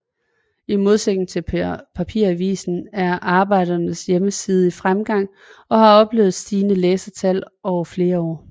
I modsætning til papiravisen er Arbejderens hjemmeside i fremgang og har oplevet et stigende læsertal over flere år